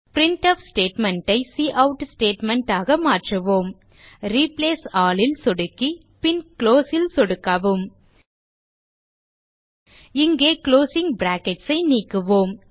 printf statement ஐ cout statement ஆக மாற்றுவோம் ரிப்ளேஸ் ஆல் ல் சொடுக்கி பின் குளோஸ் ல் சொடுக்கவும் இங்கே குளோசிங் பிராக்கெட்ஸ் ஐ நீக்குவோம்